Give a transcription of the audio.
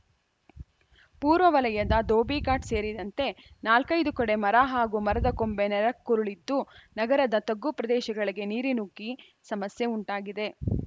ಪೂರ್ವ ವಲಯದ ದೋಬಿಘಾಟ್‌ ಸೇರಿದಂತೆ ನಾಲ್ಕೈದು ಕಡೆ ಮರ ಹಾಗೂ ಮರದ ಕೊಂಬೆ ನೆಲಕ್ಕುರುಳಿದ್ದು ನಗರದ ತಗ್ಗು ಪ್ರದೇಶಗಳಿಗೆ ನೀರು ನುಗ್ಗಿ ಸಮಸ್ಯೆ ಉಂಟಾಗಿದೆ